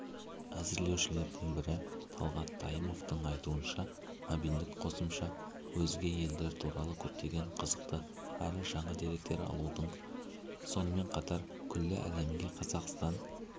әзірлеушілердің бірі талғат тайымовтың айтуынша мобильдік қосымша өзге елдер туралы көптеген қызықты әрі жаңа деректер алудың сонымен қатар күллі әлемге қазақстан